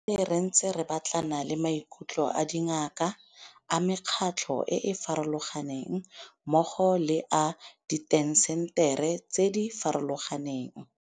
Re tsamaile re ntse re batlana le maikutlo a dingaka, a mekgatlho e e farologaneng mmogo le a diintaseteri tse di farologaneng.